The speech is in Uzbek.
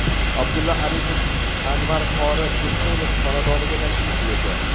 Abdulla Aripov Anvar qori Tursunov xonadoniga tashrif buyurdi.